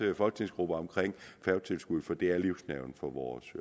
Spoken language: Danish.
folketingsgrupper for det er livsnerven for vores